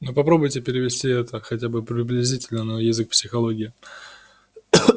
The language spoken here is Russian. но попробуйте перевести это хотя бы приблизительно на язык психологии